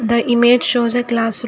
the image shows a classroom.